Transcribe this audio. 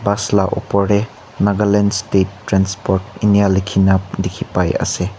bus laga opor te Nagaland state transport eninika likhe na dekhi pai ase.